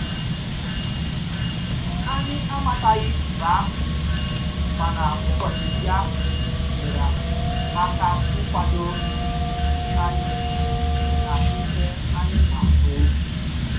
Anyị amataghi mgbe ahụ mana ụbọchị ndị ahụ nyere aka ikwado anyi na ihe anyị ga abu